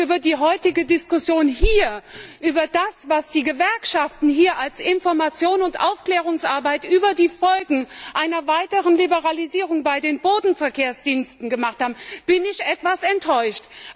Und über die heutige Diskussion hier über das, was die Gewerkschaften hier als Information und Aufklärungsarbeit über die Folgen einer weiteren Liberalisierung bei den Bodenverkehrsdiensten gemacht haben bin ich etwas enttäuscht.